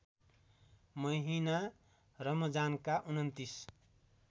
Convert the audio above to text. महिना रमजानका २९